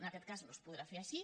en aquest cas no es podrà fer així